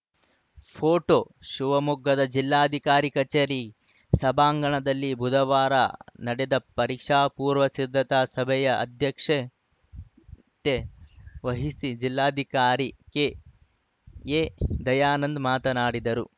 photo ಶಿವಮೊಗ್ಗದ ಜಿಲ್ಲಾಧಿಕಾರಿ ಕಚೇರಿ ಸಭಾಂಗಣದಲ್ಲಿ ಬುಧವಾರ ನಡೆದ ಪರೀಕ್ಷಾ ಪೂರ್ವ ಸಿದ್ಧತಾ ಸಭೆಯ ಅಧ್ಯಕ್ಷೆ ತೆ ವಹಿಸಿ ಜಿಲ್ಲಾಧಿಕಾರಿ ಕೆಎದಯಾನಂದ್‌ ಮಾತನಾಡಿದರು